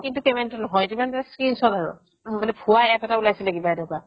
কিন্তু payment নহয় সেইটো screenshot আৰু ভুৱা APP এটা উলাইছিলে কিবা এটা